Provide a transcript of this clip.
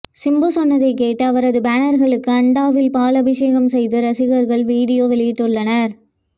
சிம்பு சொன்னதை கேட்டு அவரது பேனர்களுக்கு அண்டாவில் பால் அபிஷேகம் செய்து ரசிகர்கள் வீடியோ வெளியிட்டுள்ளனர்